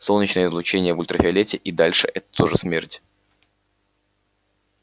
солнечное излучение в ультрафиолете и дальше это тоже смерть